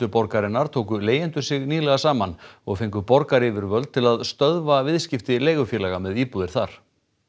borgarinnar tóku leigjendur sig nýlega saman og fengu borgaryfirvöld til að stöðva viðskipti leigufélaga með íbúðir þar